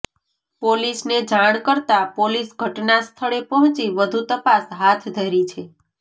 પોલીસને જાણ કરતા પોલીસ ઘટના સ્થળે પહોંચી વધુ તપાસ હાથ ધરી છે